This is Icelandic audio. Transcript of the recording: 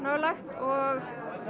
og